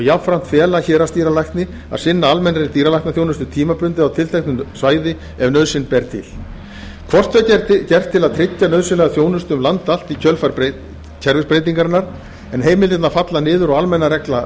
jafnframt fela héraðsdýralækni að sinna almennri dýralæknaþjónustu tímabundið á tilteknu svæði ef nauðsyn ber til hvort tveggja er gert til að tryggja nauðsynlega þjónustu um land allt í kjölfar kerfisbreytingarinnar en heimildirnar falla niður og hin almenna regla